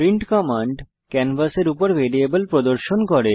print command ক্যানভাসের উপর variable প্রদর্শন করে